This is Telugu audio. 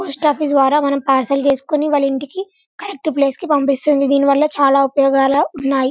పోస్ట్ ఆఫీస్ ద్వారా మనం పార్సెల్ చేసుకొని వాళ ఇంటికి కరెక్ట్ ప్లేస్ కి పంపిస్తుంది దీని వల్ల చాలా ఉపాయూగాలు ఉన్నాయి.